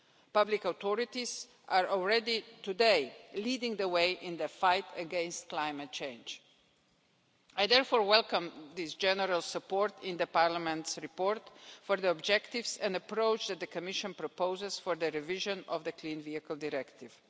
Public authorities are already today leading the way in the fight against climate change. I therefore welcome this general support in the Parliament's report for the objectives and the approach that the Commission proposes for the revision of the Clean Vehicles Directive.